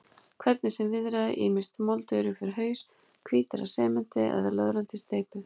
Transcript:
Hvernig sem viðraði, ýmist moldugir upp fyrir haus, hvítir af sementi eða löðrandi í steypu.